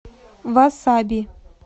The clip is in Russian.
васаби